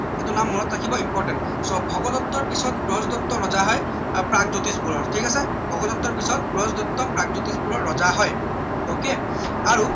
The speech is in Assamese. এইটো নাম মনত ৰাখিব important so ভগদত্তৰ পিছত ব্ৰজদত্ত ৰজা হয় প্ৰাগজ্যোতিষ পুৰৰ ঠিক আছে ভগদত্তৰ পিছত ব্ৰজদত্ত প্ৰাগজ্যোতিষ পুৰৰ ৰজা হয় ok আৰু